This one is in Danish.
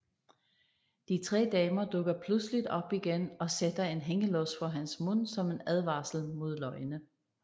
De tre damer dukker pludseligt op igen og sætter en hængelås for hans mund som en advarsel mod løgne